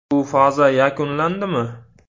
- Bu faza yakunlandimi?